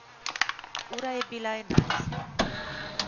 Ura je bila enajst.